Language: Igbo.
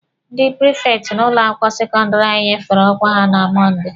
Ndị prifekti n'ụlọ akwụkwọ sekọndịrị anyị nyefere ọkwa ha na Mọnde.